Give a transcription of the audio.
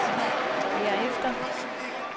herefter